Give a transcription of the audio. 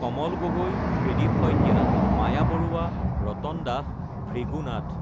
Kamal Gogoi, Tridip Saikia, Maya Baruah, Ratan Das, Bhrigu Nath